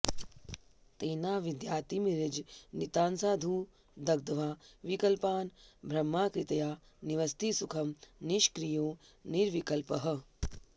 तेनाविद्यातिमिरजनितान्साधु दग्ध्वा विकल्पान् ब्रह्माकृत्या निवसति सुखं निष्क्रियो निर्विकल्पः